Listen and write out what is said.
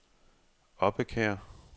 Obbekær